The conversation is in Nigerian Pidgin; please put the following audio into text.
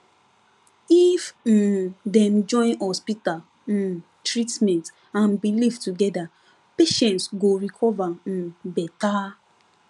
if um dem join hospital um treatment and belief together patients go recover um better